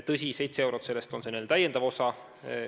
Tõsi, 7 eurot sellest on see n-ö täiendav osa.